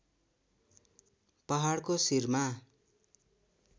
पहाडको शिरमा